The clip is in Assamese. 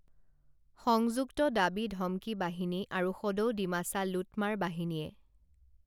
সংযুক্ত দাবী ধমকি বাহিনী আৰু সদৌ ডিমাছা লুটমাৰ বাহিনীয়ে